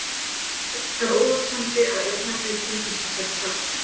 Ekki er óhugsandi að örnefnið tengist þessari sögn.